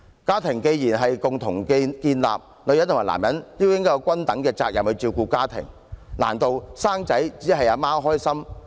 家庭既然是共同建立的，女人與男人便應該有均等責任，難道生育只有媽媽開心嗎？